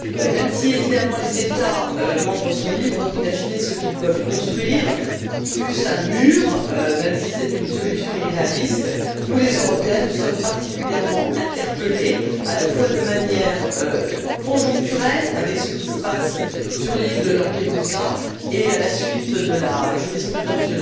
Même si les États membres sont libres d'imaginer ce qu'ils peuvent construire, fût ce un mur, même si c'est une solution irréaliste, nous les Européens, nous sommes particulièrement interpelés à la fois de manière conjoncturelle, avec ce qui se passe sur l'île de Lampedusa et à la suite de la jurisprudence